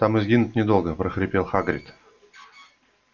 там и сгинуть недолго прохрипел хагрид